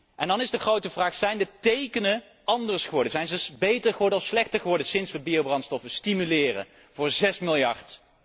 En dan is de grote vraag zijn de tekenen anders geworden, zijn ze beter of slechter geworden sinds wij biobrandstoffen stimuleren voor zes miljard?